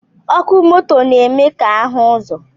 Ọkụ moto na-eme ka ahụ ụzọ